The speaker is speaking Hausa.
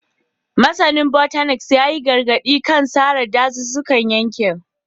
Masanin Botanist ya yi gargadi kan sare dazuzzukan yankin